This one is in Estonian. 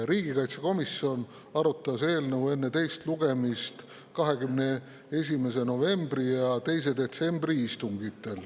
Riigikaitsekomisjon arutas eelnõu enne teist lugemist 21. novembri ja 2. detsembri istungil.